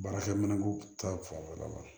Baarakɛminɛn ko ta fanfɛla la